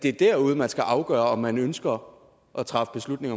er derude man skal afgøre om man ønsker at træffe beslutning